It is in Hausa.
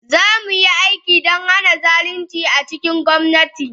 Za mu yi aiki don hana zalunci a cikin gwamnati.